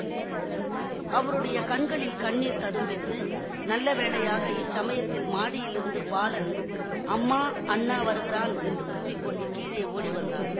அவருடைய கண்களில் கண்ணீர் ததும்பிற்று நல்ல வேளையாக இச்சமயத்தில் மாடியிலிருந்து பாலன் அம்மா அண்ணா வருகிறான் என்று கூவி கொண்டு கீழே ஓடி வந்தான்